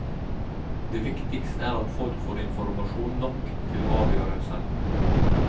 Det viktigste er at folk får informasjon nok til å avgjøre selv.